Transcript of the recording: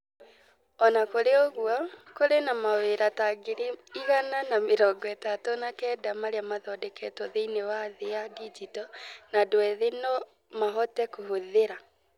O na kũrĩ ũguo, kũrĩ na mawĩra ta ngiri igana na mĩrongo ĩtatũ na kenda marĩa mathondeketwo thĩinĩ wa thĩ ya digito na andũ ethĩ no mahote kũhũthĩra.